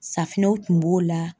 Safinɛw kun b'o la.